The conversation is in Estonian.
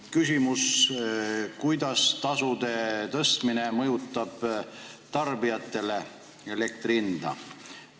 Küsimus: kuidas tasude tõstmine mõjutab tarbijate makstavat elektri hinda?